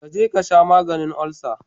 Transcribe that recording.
Ka je ka sha maganin olsa